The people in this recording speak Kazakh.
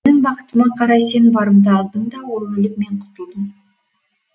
менің бақытыма қарай сен барымта алдың да ол өліп мен құтылдым